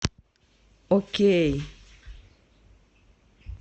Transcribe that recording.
окей